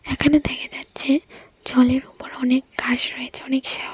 এখানে দেখা যাচ্ছে জলের উপর অনেক ঘাস রয়েছে অনেক শ্যাও --